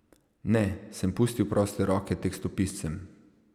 Ne, sem pustil proste roke tekstopiscem.